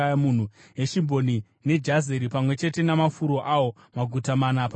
Heshibhoni neJazeri, pamwe chete namafuro awo, maguta mana pamwe chete.